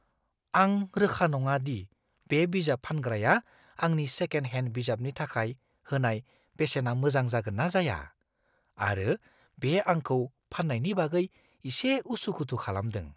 आं रोखा नङा दि बे बिजाब फानग्राया आंनि सेकेन्ड हेन्ड बिजाबनि थाखाय होनाय बेसेना मोजां जागोन ना जाया, आरो बे आंखौ फान्नायनि बागै इसे उसु-खुथु खालामदों।